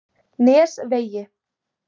Nesvegi